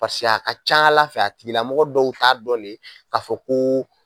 Paseke a ka ca ala fɛ a tigilamɔgɔ dɔw t'a dɔnnen k'a fɔ koo